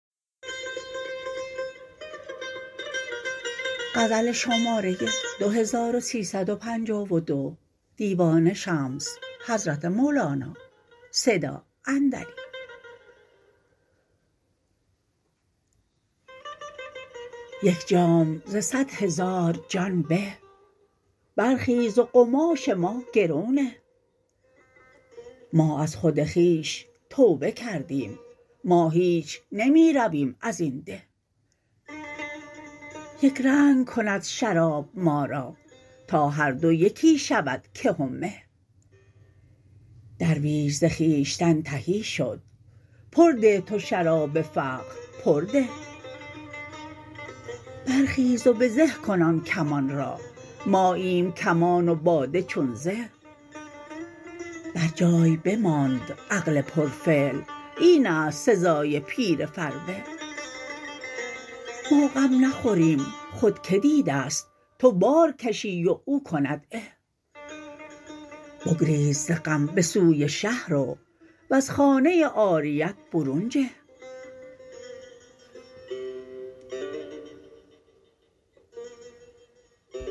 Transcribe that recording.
یک جام ز صد هزار جان به برخیز و قماش ما گرو نه ما از خود خویش توبه کردیم ما هیچ نمی رویم از این ده یک رنگ کند شراب ما را تا هر دو یکی شود که و مه درویش ز خویشتن تهی شد پر ده تو شراب فقر پر ده برخیز و به زه کن آن کمان را ماییم کمان و باده چون زه برجای بماند عقل پرفعل این است سزای پیر فربه ما غم نخوریم خود کی دیده ست تو بار کشی و او کند عه بگریز ز غم به سوی شه رو وز خانه عاریت برون جه